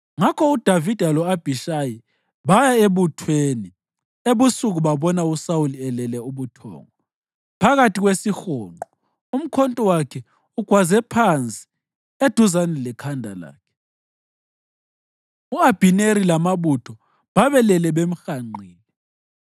Ngakho uDavida lo-Abhishayi baya ebuthweni ebusuku babona uSawuli elele ubuthongo phakathi kwesihonqo umkhonto wakhe ugwaze phansi eduzane lekhanda lakhe. U-Abhineri lamabutho babelele bemhanqile.